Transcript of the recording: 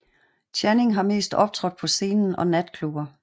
Channing har mest optrådt på scenen og natklubber